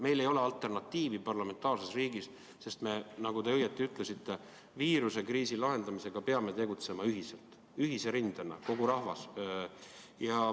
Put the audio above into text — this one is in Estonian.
Meil ei ole parlamentaarses riigis sellele alternatiivi, sest, nagu te õigesti ütlesite, me peame viirusekriisi lahendamisega tegelema ühiselt, ühise rindena, kogu rahvas.